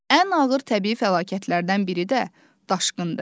Ən ağır təbii fəlakətlərdən biri də daşqındır.